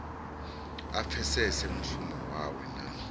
a pfesese mushumo wawe na